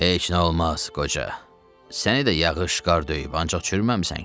"Heç nə olmaz, qoca, səni də yağış, qar döyüb, ancaq çürüməmisən ki!"